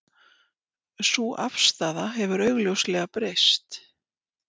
Sú afstaða hefur augljóslega breyst